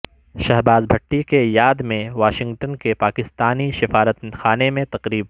شہباز بھٹی کی یاد میں واشنگٹن کے پاکستانی سفارت خانے میں تقریب